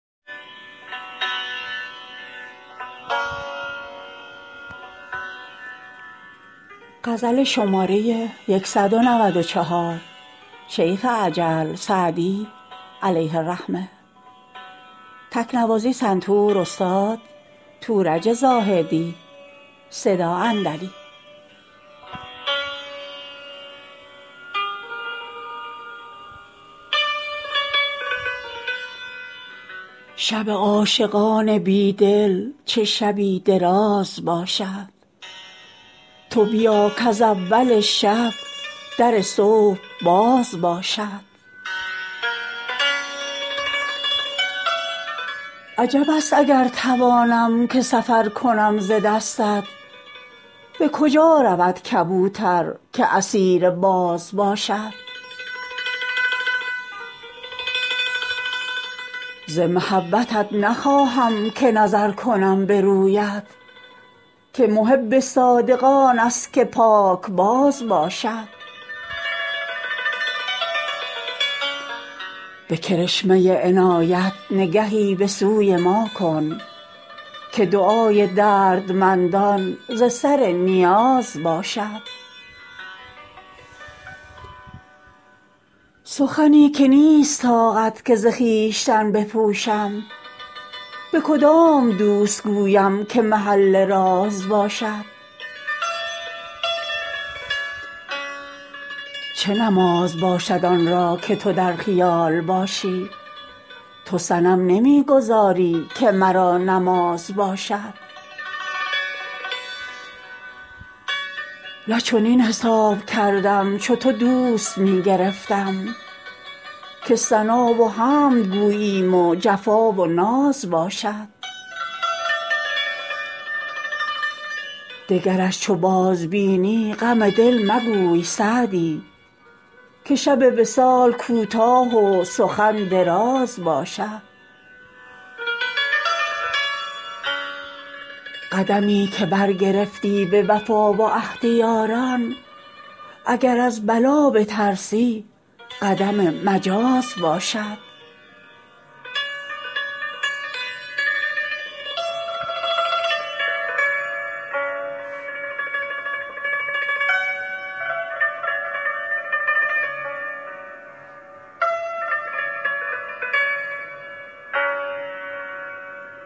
شب عاشقان بی دل چه شبی دراز باشد تو بیا کز اول شب در صبح باز باشد عجب است اگر توانم که سفر کنم ز دستت به کجا رود کبوتر که اسیر باز باشد ز محبتت نخواهم که نظر کنم به رویت که محب صادق آن است که پاکباز باشد به کرشمه عنایت نگهی به سوی ما کن که دعای دردمندان ز سر نیاز باشد سخنی که نیست طاقت که ز خویشتن بپوشم به کدام دوست گویم که محل راز باشد چه نماز باشد آن را که تو در خیال باشی تو صنم نمی گذاری که مرا نماز باشد نه چنین حساب کردم چو تو دوست می گرفتم که ثنا و حمد گوییم و جفا و ناز باشد دگرش چو بازبینی غم دل مگوی سعدی که شب وصال کوتاه و سخن دراز باشد قدمی که برگرفتی به وفا و عهد یاران اگر از بلا بترسی قدم مجاز باشد